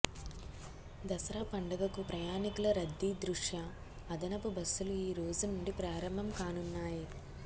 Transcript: దసరా పండగకు ప్రయాణికుల రద్దీ దృష్ట్యా అదనపు బస్సులు ఈ రోజు నుండి ప్రారంభం కానున్నాయి